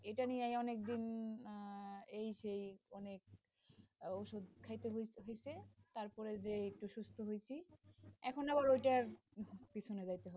এটা নিয়ে অনেকদিন, আহ এই যে অনেক ওষুধ খাইতে হয়েছে তারপরে যেয়ে একটু সুস্থ হইছি এখন আবার ওইটার পিছনে যাইতে হবে,